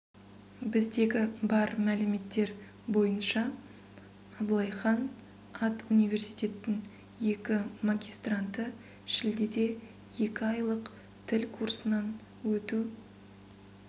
біздегі бар мәліметтер бойынша аблай хан ат университеттің екі магистранты шілдеде екі айлық тіл курсынан өту